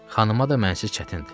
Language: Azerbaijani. Xanıma da mənsiz çətindir.